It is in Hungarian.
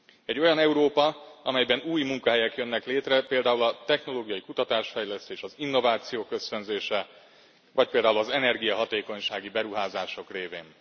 Egy olyan Európa, amelyben új munkahelyek jönnek létre, például a technológiai kutatás fejlesztés, az innovációk ösztönzése vagy például az energiahatékonysági beruházások révén.